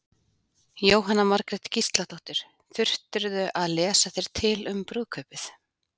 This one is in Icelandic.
Jóhanna Margrét Gísladóttir: Þurftirðu að lesa þér til um brúðkaupið?